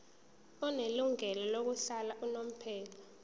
onelungelo lokuhlala unomphela